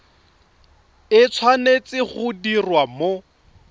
e tshwanetse go diriwa mo